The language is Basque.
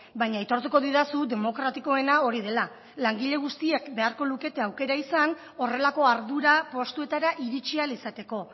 baina aitortuko didazu demokratikoena hori dela langile guztiek beharko lukete aukera izan horrelako ardura postuetara iritsi ahal izateko